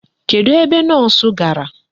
Kedụ ebe Nọọsụ gara?